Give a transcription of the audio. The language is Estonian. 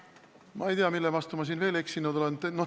Ma ei tea, mille vastu ma siin veel eksinud olen.